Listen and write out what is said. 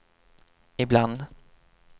ibland